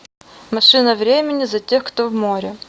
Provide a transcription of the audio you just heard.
машина времени за тех кто в море